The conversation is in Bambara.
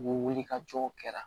U bɛ wuli ka jɔw kɛra